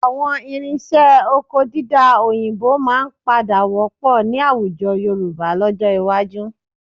Àwọn irinṣẹ́ oko dídá òyìnbó máa padà wọ́pọ̀ ní àwùjọ Yorùbá lọ́jọ́ iwájú